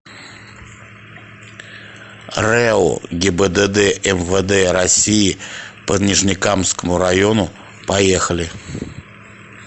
рэо гибдд мвд россии по нижнекамскому району поехали